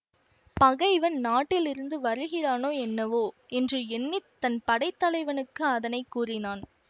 பகைவன் நாட்டிலிருந்து வருகிறானோ என்னவோ என்று எண்ணி தன் படைத்தலைவனுக்கு அதனை கூறினான்